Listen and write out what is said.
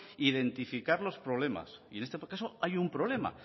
identificar los problemas y en este proceso hay un problema